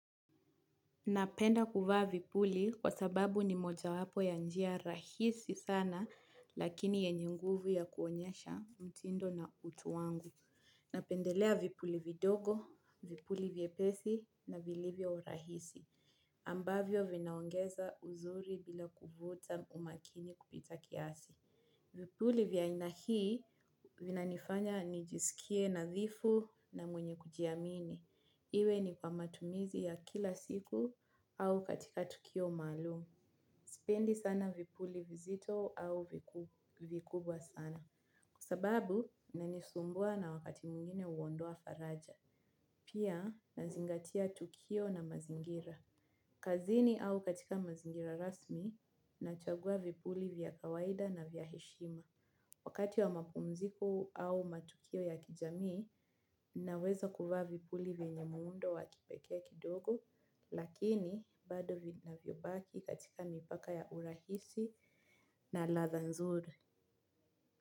Napenda kuvaa vipuli kwa sababu ni mojawapo ya njia rahisi sana lakini yenye nguvu ya kuonyesha mtindo na utu wangu. Napendelea vipuli vidogo, vipuli vyepesi na vilivyo rahisi. Ambavyo vinaongeza uzuri bila kuvuta umakini kupita kiasi. Vipuli vya aina hii vinanifanya nijisikie nadhifu na mwenye kujiamini. Iwe ni kwa matumizi ya kila siku au katika tukio maalumu. Sipendi sana vipuli vizito au vikubwa sana. Kwa sababu, inanisumbua na wakati mwingine huondoa faraja. Pia, nazingatia tukio na mazingira. Kazini au katika mazingira rasmi nachagua vipuli vya kawaida na vya heshima. Wakati wa mapumziko au matukio ya kijamii, naweza kuvaa vipuli vyenye muundo wa kipekee kidogo, lakini bado vinavyobaki katika mipaka ya urahisi na ladha nzuri.